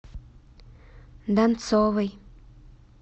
донцовой